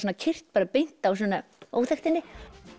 keyrt beint á svona óþekktinni